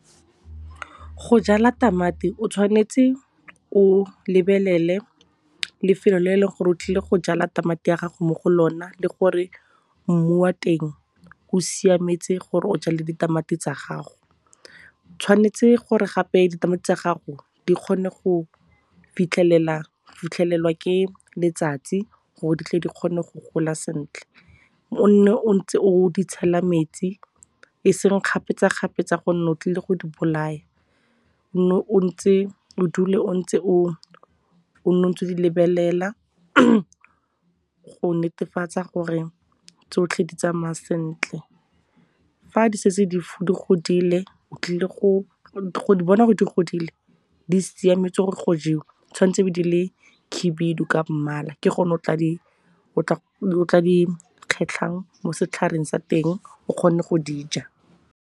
Go jala tamati o tshwanetse o lebelele lefelo le e leng gore otlile go jala tamati ya gago mo go lona le gore mmu wa teng o siametse gore o jale ditamati tsa gago. Tshwanetse gore gape ditamati tsa gago di kgone go fitlhelelwa ke letsatsi gore di tle di kgone go gola sentle. O nne o ntse o di tshela metsi, e seng kgapetsa-kgapetsa gonne o tlile go di bolaya. O nne o ntse o o di lebelela go netefatsa gore tsotlhe di tsamaya sentle. Go di bona gore di godile, di siametse gore go jewa tshwanetse e be di le khibidu ka mmala ke gone o tla di kgetlhang mo setlhareng sa teng o kgone go dija.